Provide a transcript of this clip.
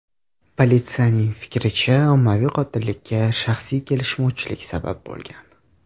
Politsiyaning fikricha, ommaviy qotillikka shaxsiy kelishmovchilik sabab bo‘lgan.